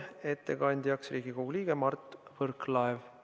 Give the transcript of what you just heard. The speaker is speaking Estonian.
Ettekandja on Riigikogu liige Mart Võrklaev.